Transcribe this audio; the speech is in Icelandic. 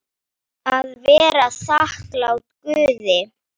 Að vera þakklát Guði.